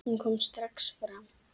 Hún kom strax fram.